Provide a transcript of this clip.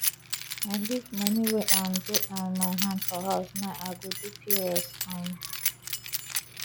i leave money wey um dey um my hand for house now i go do pos um